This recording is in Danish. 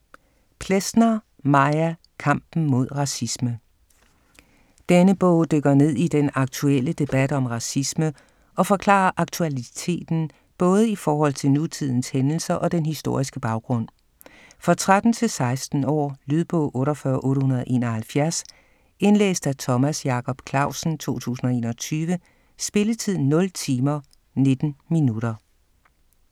Plesner, Maja: Kampen mod racisme Denne bog dykker ned i den aktuelle debat om racisme og forklarer aktualiteten både i forhold til nutidens hændelser og den historiske baggrund. For 13-16 år. Lydbog 48871 Indlæst af Thomas Jacob Clausen, 2021. Spilletid: 0 timer, 19 minutter.